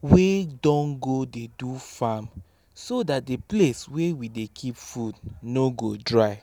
wey don go dey do farm so that the place wey we dey keep food no go dry.